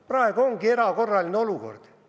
Praegu aga on erakorraline olukord.